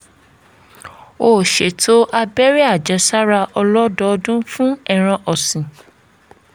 ó ṣètò abẹ́rẹ́ àjẹsára ọlọ́dọọdún fún ẹran ọ̀sìn